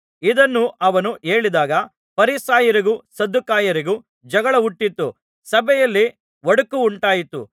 ಇದನ್ನು ಅವನು ಹೇಳಿದಾಗ ಫರಿಸಾಯರಿಗೂ ಸದ್ದುಕಾಯರಿಗೂ ಜಗಳ ಹುಟ್ಟಿತು ಸಭೆಯಲ್ಲಿ ಒಡಕುಂಟಾಯಿತು